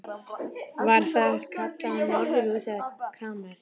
Var það kallað norðurhús eða kamers